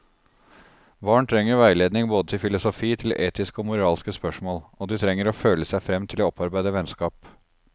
Barn trenger veiledning både til filosofi, til etiske og moralske spørsmål, og de trenger å føle seg frem til å opparbeide vennskap.